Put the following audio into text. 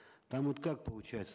там вот как получается